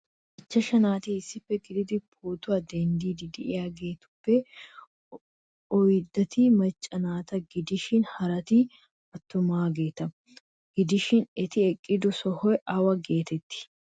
Ichashshu naati issippe eqqidi pootuwa denddidi de'iyaagetuppe oyddati macca naata gidishin harati attumaageeta, gidoshin eti eqqido sohoy awa getetti ?